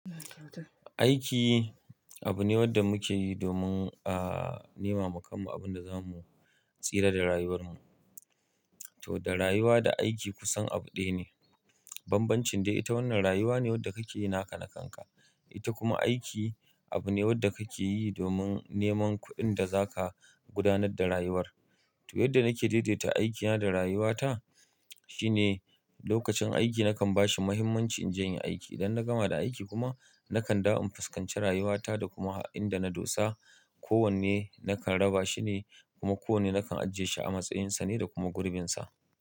Aiki abu ne wanda muke yi domin a nema wa kanmu abin da za mu tsira da rayuwar mu. Toh, da rayuwa da aiki kusan abu ɗaya ne. Banbancin dai ita wannan rayuwa ne wanda kake yi naka na kanka. Ita kuma aiki abu ne wanda kake yi domin neman kuɗin da za ka gudanar da rayuwar. Toh, yadda nake daidaita aikina da rayuwata shine lokacin aiki nakan ba shi muhimmanci in je in yi aiki. Idan na gama da aiki kuma nakan dawo in fuskanci rayuwata da kuma inɗa na dosa. Ko wanne nakan raba shi ne kuma ko wanne nakan ajiye shi a matsayinsa ne da kuma gurbinsa.